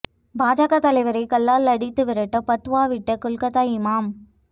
பாஜக தலைவரை கல்லால் அடித்து விரட்ட பத்வா விட்ட கொல்கத்தா இமாம்